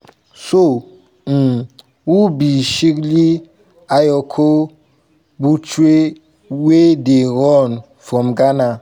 so um who be shirley ayokor botchwey wey dey run from ghana?